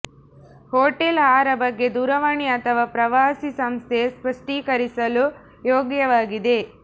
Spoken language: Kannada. ಹೋಟೆಲ್ ಆಹಾರ ಬಗ್ಗೆ ದೂರವಾಣಿ ಅಥವಾ ಪ್ರವಾಸಿ ಸಂಸ್ಥೆ ಸ್ಪಷ್ಟೀಕರಿಸಲು ಯೋಗ್ಯವಾಗಿದೆ